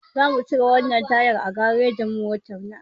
Zamu cire wannan tayar a garejin mota.